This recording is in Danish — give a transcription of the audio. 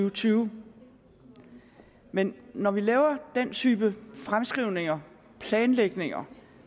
og tyve men når vi laver den type fremskrivninger planlægninger